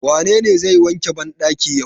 Wanene zai wanke bandakin yau?